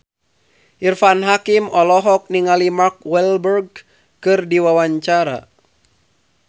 Irfan Hakim olohok ningali Mark Walberg keur diwawancara